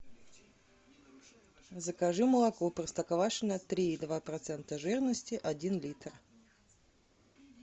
закажи молоко простоквашино три и два процента жирности один литр